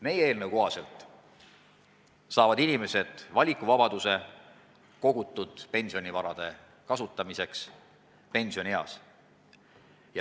Meie eelnõu kohaselt saavad inimesed valikuvabaduse, kuidas kogutud pensionivara pensionieas kasutada.